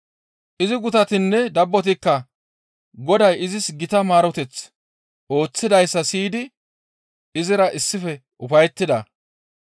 Izi gutatinne dabbotikka Goday izis gita maareteth ooththidayssa siyidi izira issife ufayettida.